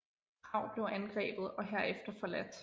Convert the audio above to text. Prag blev angrebet og herefter forladt